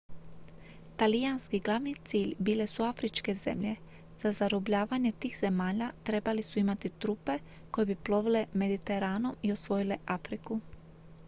talijanski glavni cilj bile su afričke zemlje za zarobljavanje tih zemalja trebali su imati trupe koje bi plovile mediteranom i osvojile afriku